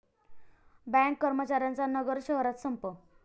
bank कर्मचाऱ्यांचा नगर शहरात संप